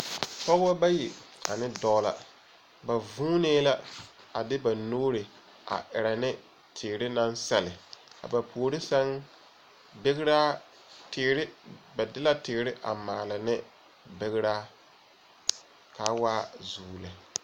Pɔbɔ bayi ane dɔɔ la. Ba vuunee la a de ba nuuri a erɛ ne teere naŋ sɛlle. A ba puori sɛŋ begeraa teere ba de la teere a maale ne begeraa k'a waa zuu lɛ.